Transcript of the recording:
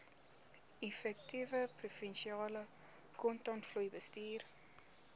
effektiewe provinsiale kontantvloeibestuur